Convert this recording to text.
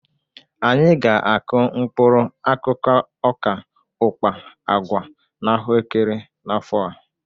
Anyị ga-akụ mkpụrụ akụkụ ọka, ụkpa, agwa na ahụekere n'afọ a.